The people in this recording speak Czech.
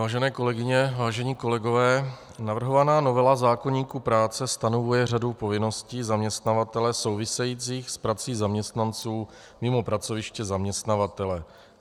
Vážené kolegyně, vážení kolegové, navrhovaná novela zákoníku práce stanovuje řadu povinností zaměstnavatele souvisejících s prací zaměstnanců mimo pracoviště zaměstnavatele.